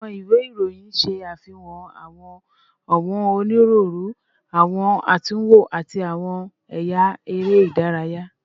Awọn iwe iroyin ṣe afihan awọn ọwọn oniruuru, awọn atunwo, ati awọn ẹya ere idaraya